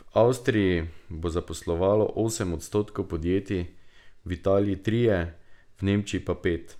V Avstriji bo zaposlovalo osem odstotkov podjetij, v Italiji trije, v Nemčiji pa pet.